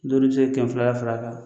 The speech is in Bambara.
Don dɔ i bɛ se kɛmɛ filala fara a kan